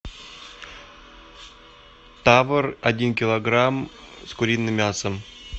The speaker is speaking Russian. табор один килограмм с куриным мясом